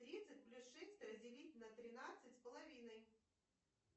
тридцать плюс шесть разделить на тринадцать с половиной